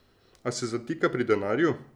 A se zatika pri denarju.